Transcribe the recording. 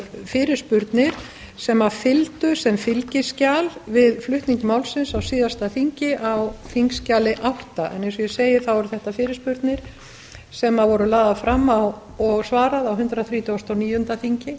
fyrirspurnir sem fylgdu sem fylgiskjal við flutning málsins á síðasta þingi á þingskjali átta en eins og ég segi eru þetta fyrirspurnir sem voru lagðar fram og svarað á hundrað þrítugasta og níunda þingi